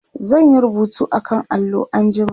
zan Yi rubutu akan allo anjima